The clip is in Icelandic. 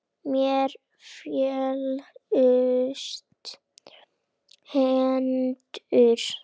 Mér féllust hendur.